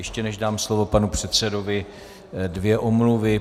Ještě než dám slovo panu předsedovi, dvě omluvy.